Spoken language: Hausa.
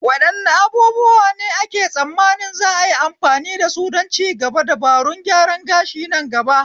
Wadanne abubuwa ne ake tsammani za'a yi amfani dasu don cigaban dabarun gyaran gashi nan gaba?